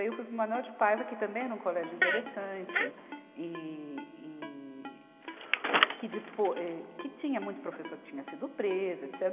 Aí eu fui para o Manoel de Paiva, que também era um colégio interessante e, e que depo, eh, que tinha muito professor que tinha sido preso, etece